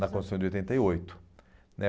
Na Constituição de oitenta e oito, né.